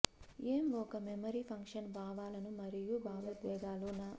ఏం ఒక memory function భావాలను మరియు భావోద్వేగాలు న